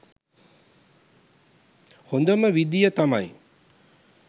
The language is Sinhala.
හොඳම විදිය තමයි